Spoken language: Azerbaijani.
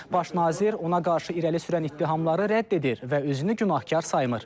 Baş nazir ona qarşı irəli sürülən ittihamları rədd edir və özünü günahkar saymır.